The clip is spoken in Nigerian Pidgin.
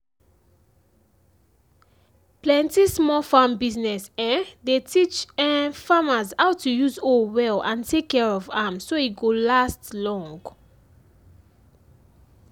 plenty small farm business um dey teach um farmers how to use hoe well and take care of am so e go last um long.